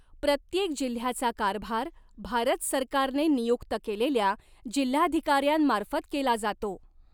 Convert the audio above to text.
प्रत्येक जिल्ह्याचा कारभार भारत सरकारने नियुक्त केलेल्या जिल्हाधिकाऱ्यांमार्फत केला जातो.